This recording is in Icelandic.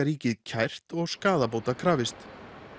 ríkið kært og skaðabóta krafist